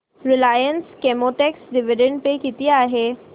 Reliance Chemotex dividend pay किती आहे